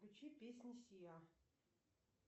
включи песни сиа